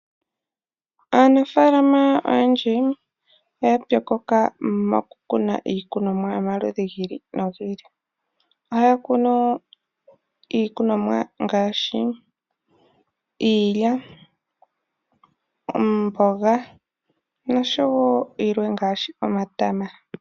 Aanafalama oyendji oya pyokoka mo kukuna iikunomwa yomaludhi gi ili nogi ili ohaya kunu iikunomwa ngaashi iilya ,omboga noshwo yilwe ngaashi omatama.